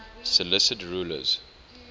seleucid rulers